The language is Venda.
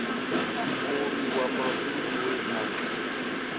mulwi wa mavili we a